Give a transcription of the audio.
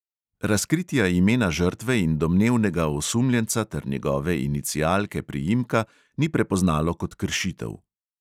Razkritja imena žrtve in domnevnega osumljenca ter njegove inicialke priimka ni prepoznalo kot kršitev.